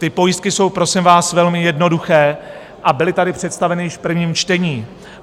Ty pojistky jsou, prosím vás, velmi jednoduché a byly tady představeny již v prvním čtení.